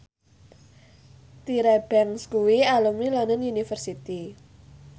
Tyra Banks kuwi alumni London University